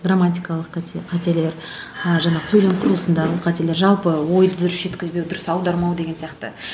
грамматикалық қате қателер ы жаңағы сөйлем құрылысындағы қателер жалпы ойды дұрыс жеткізбеу дұрыс аудармау деген сияқты